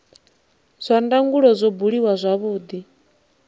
zwa ndangulo zwo buliwa zwavhudi